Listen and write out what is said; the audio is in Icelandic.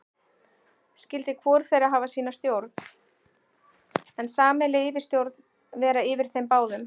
Skyldi hvor þeirra hafa sína stjórn, en sameiginleg yfirstjórn vera yfir þeim báðum.